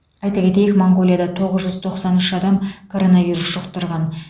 айта кетейік моңғолияда тоғыз жүз тоқсан үш адам коронавирус жұқтырған